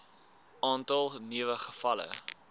aantal nuwe gevalle